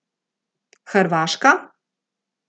Hrvaška?